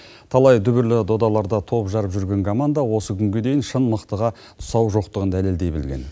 талай дүбірлі додаларда топ жарып жүрген команда осы күнге дейін шын мықтыға тұсау жоқтығын дәлелдей білген